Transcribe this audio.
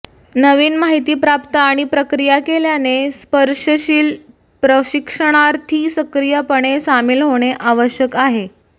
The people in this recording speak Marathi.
नवीन माहिती प्राप्त आणि प्रक्रिया केल्याने स्पर्शशिल प्रशिक्षणार्थी सक्रियपणे सामील होणे आवश्यक आहे